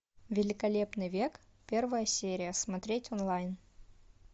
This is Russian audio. великолепный век первая серия смотреть онлайн